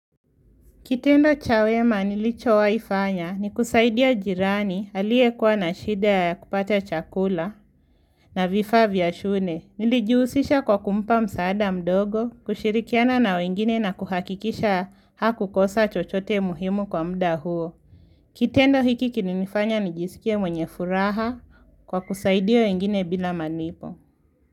Kitendo cha wema nilicho wahifanya ni kusaidia jirani aliye kuwa na shida ya kupata chakula na vifaa vya shule. Nilijihusisha kwa kumpa msaada mdogo, kushirikiana na wengine na kuhakikisha hakukosa chochote muhimu kwa mda huo. Kitendo hiki kilinifanya nijisikie mwenye furaha kwa kusaidia wengine bila malipo.